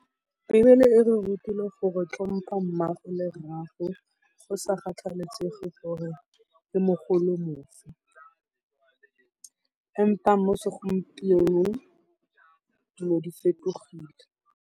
Beebele e re rutile gore tlhompa mmaago le rraago go sa kgathalesege gore ke mogolo ofe, empa mo segompienong dilo di fetogile.